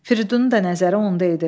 Firidunun da nəzəri onda idi.